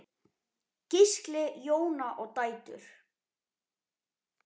Gísli, Jóna og dætur.